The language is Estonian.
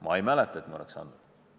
Ma ei mäleta, et me oleks andnud.